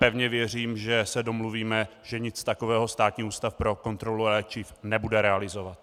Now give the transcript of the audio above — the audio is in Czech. Pevně věřím, že se domluvíme, že nic takového Státní ústav pro kontrolu léčiv nebude realizovat.